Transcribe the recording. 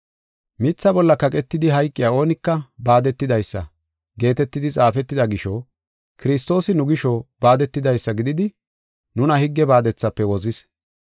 “Mitha bolla kaqetidi hayqiya oonika baadetidaysa” geetetidi xaafetida gisho, Kiristoosi nu gisho baadetidaysa gididi, nuna higge baadethafe wozis.